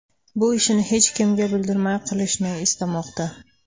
Bu ishini hech kimga bildirmay qilishni istamoqda”.